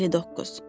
59.